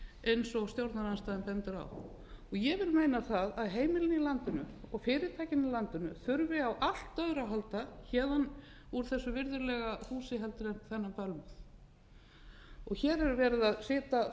eins og stjórnarandstaðan bendir á ég vil meina það að heimilin í landinu og fyrirtækin í landinu þurfi á allt öðru að halda héðan úr þessu virðulega húsi heldur en þennan bölmóð hér er verið að setja